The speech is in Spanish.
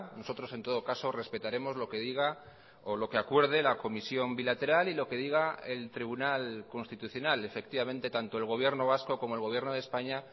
nosotros en todo caso respetaremos lo que diga o lo que acuerde la comisión bilateral y lo que diga el tribunal constitucional efectivamente tanto el gobierno vasco como el gobierno de españa